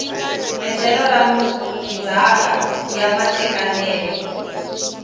endlelo ra ndzhaka ya matekanelo